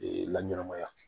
Ee laɲɛnɛmaya